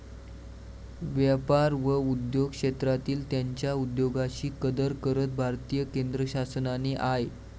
व्यापार व उद्योग क्षेत्रांतील त्यांच्या उद्योगाशी कदर करत भारतीय केंद्रशासनाने आय.